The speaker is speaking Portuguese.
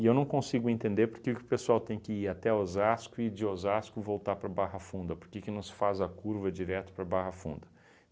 E eu não consigo entender porque que o pessoal tem que ir até Osasco e de Osasco voltar para Barra Funda, porque que não se faz a curva direto para Barra Funda?